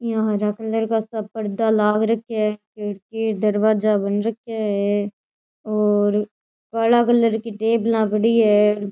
यहाँ हरा कलर का पर्दा लाग रखे है खिड़की दरवाजा बन रखे है और काला कलर की टेबल पड़ी है।